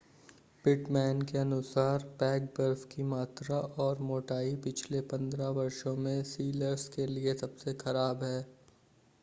Pitman के अनुसार pack बर्फ की मात्रा और मोटाई पिछले 15 वर्षों में सीलर्स के लिए सबसे ख़राब है